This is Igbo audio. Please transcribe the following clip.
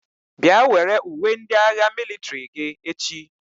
Bịa were uwe ndị agha mịlịtrị gị echi!